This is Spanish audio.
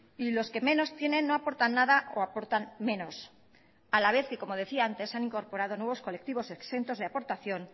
y los que menos tienen no aportan nada o aportan menos a la vez que como decía antes se han incorporado nuevos colectivos exentos de aportación